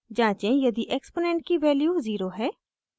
जाँचें यदि exponent की value 0 है